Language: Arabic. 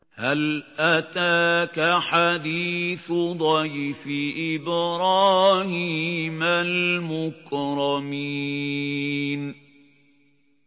هَلْ أَتَاكَ حَدِيثُ ضَيْفِ إِبْرَاهِيمَ الْمُكْرَمِينَ